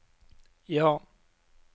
ja